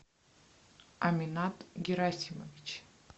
аминат герасимович